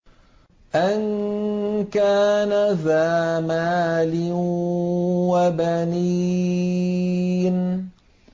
أَن كَانَ ذَا مَالٍ وَبَنِينَ